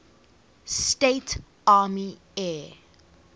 states army air